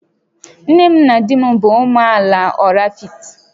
Nne m na di m bụ ụmụ amaala Oraifite